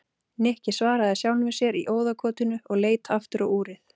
Nikki svaraði sjálfum sér í óðagotinu og leit aftur á úrið.